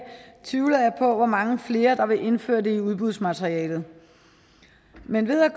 tvivler jeg på hvor mange flere der vil indføre det i udbudsmaterialet men ved at